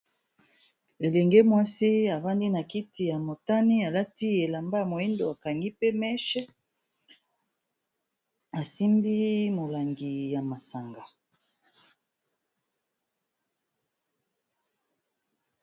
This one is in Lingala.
Elenge mwasi avandi na kiti ya motani alati elamba ya moyindo akangi pe meche asimbi molangi ya masanga.